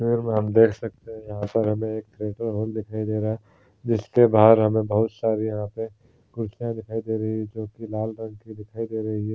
हम देख सकते है यहां पर हमे एक थीअटर रूम दिखाई दे रहा है जिसके बाहर हमे लाल रंग की कुर्सियां दिखाई दे रही हैं।